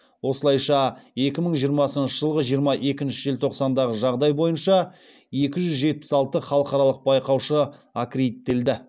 осылайша екі мың жиырмасыншы жылғы жиырма екінші желтоқсандағы жағдай бойынша екі жүз жетпіс алты халықаралық байқаушы аккредиттелді